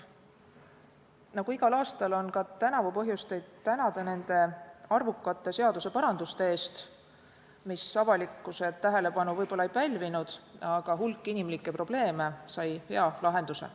Nagu igal aastal, on ka tänavu põhjust teid tänada arvukate seaduseparanduste eest, mis avalikkuse tähelepanu võib-olla ei pälvinud, aga hulk inimlikke probleeme sai hea lahenduse.